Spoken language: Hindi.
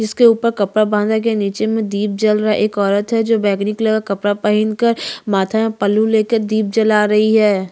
जिसके ऊपर कपड़ा बांधा गया है नीचे में दीप जल रहा है एक औरत है जो बैगनी कलर का कपड़ा पहिनकर माथा में पल्लू लेकर दीप जला रही है।